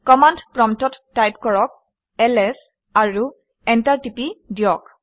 command প্ৰম্পটত type কৰক - LS আৰু এণ্টাৰ টিপি দিয়ক